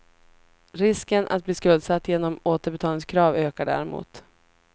Risken att bli skuldsatt genom återbetalningskrav ökar däremot.